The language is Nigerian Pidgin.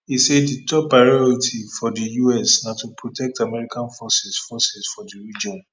e say di top priority for di us na to protect american forces forces for di region